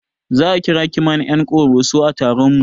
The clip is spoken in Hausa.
Za a kira mana ƴan ƙoroso a taron mu